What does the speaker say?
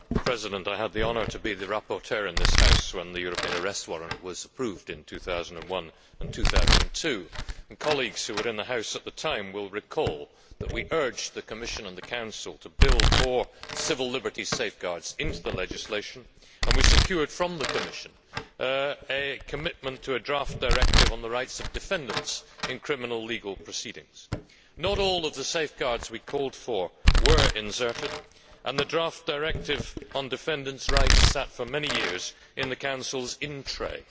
Mr President, I had the honour to be the rapporteur in this House when the European Arrest Warrant was approved in 2001 and 2002. Colleagues who were in the House at the time will recall that we urged the Commission and the Council to build more civil liberties safeguards into the legislation, and we secured from the Commission a commitment to a draft directive on the rights of defendants in criminal legal proceedings. Not all of the safeguards we called for were inserted, and the draft directive on defendants' rights sat for many years in the Council's in tray.